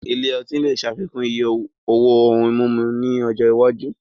Ilé ọtí lè ṣàfikún iye owó ohun mímu ní ọjọ́ iwájú